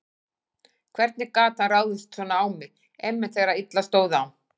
Hvernig gat hann ráðist svona á mig, einmitt þegar illa stóð á?